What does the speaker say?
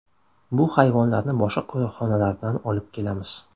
Bu hayvonlarni boshqa qo‘riqxonalardan olib kelamiz.